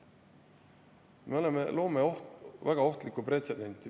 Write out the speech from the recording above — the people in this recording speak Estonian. Me loome väga ohtlikku pretsedenti.